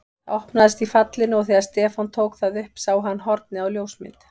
Það opnaðist í fallinu og þegar Stefán tók það upp sá hann hornið á ljósmynd.